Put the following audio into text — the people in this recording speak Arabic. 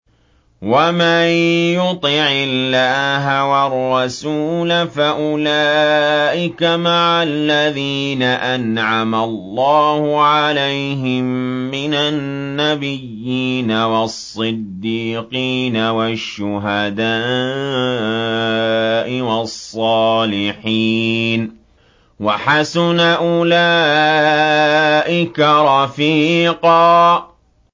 وَمَن يُطِعِ اللَّهَ وَالرَّسُولَ فَأُولَٰئِكَ مَعَ الَّذِينَ أَنْعَمَ اللَّهُ عَلَيْهِم مِّنَ النَّبِيِّينَ وَالصِّدِّيقِينَ وَالشُّهَدَاءِ وَالصَّالِحِينَ ۚ وَحَسُنَ أُولَٰئِكَ رَفِيقًا